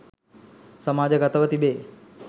සමාජ ගත ව තිබේ.